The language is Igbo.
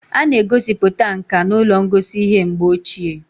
A na-egosiputa nka n'ụlọ ngosi ihe mgbe ochie